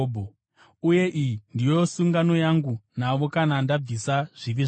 Uye iyi ndiyo sungano yangu navo kana ndabvisa zvivi zvavo.”